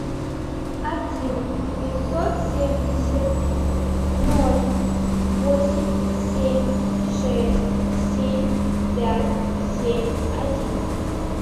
один пятьсот семьдесят ноль восемь семь шесть семь пять семь один